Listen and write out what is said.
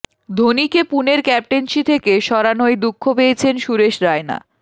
ধোনিকে পুনের ক্যাপ্টেন্সি থেকে সরানোয় দুঃখ পেয়েছেন সুরেশ রায়না